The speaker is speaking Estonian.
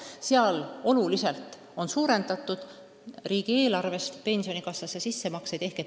Neis riikides on oluliselt suurendatud riigieelarvest tehtavaid makseid pensionifondi.